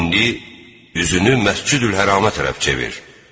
İndi üzünü Məscidül-Hərama tərəf çevir.